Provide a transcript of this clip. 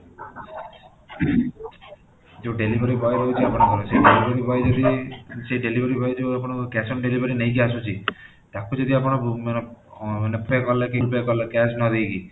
ଯୋଉଁ delivery boy ରହୁଛି ଆପଣଙ୍କର ସେଇ delivery boy ଯଦି ସେଇ delivery boy ଯୋଉ ଆପଣଙ୍କର cash on delivery ନେଇକି ଆସୁଛି ତାକୁ ଯଦି ଆପଣ ଅଂ କଲେ cash ନ ଦେଇକି